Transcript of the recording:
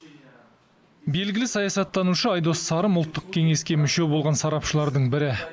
белгілі саясаттанушы айдос сарым ұлттық кеңеске мүше болған сарапшылардың бірі